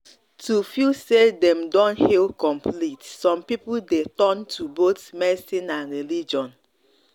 to feel say dem don heal complete some people dey turn to both medicine and religion.